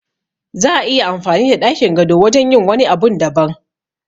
Za'a iya amfani da ɗakin gado wajen yin wani abun daban